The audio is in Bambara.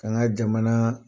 k'an ga jamana